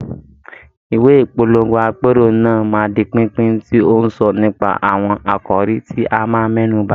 Ìwé ìpolongo àpérò náà máa di pínpín, tí ó ń sọ nípa àwọn àkòrí tí a máa mẹ́nu bà.